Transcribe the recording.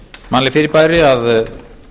mannleg fyrirbæri að